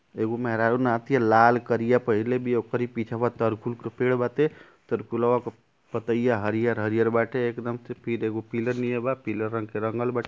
एगो मेहरारू नहा तिया। लाल करिया पहिरले बिया ओकरी पिछवा तरकुल के पेड़ बाते। तरकुलवा के पतईया हरियर-हरियर बाटे एकदम एगो पिलर नियर बा पीलर रंग के रंगल बा --